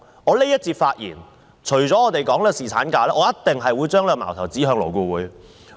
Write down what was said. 我在這一節的發言除了討論侍產假，我一定會把矛頭指向勞顧會。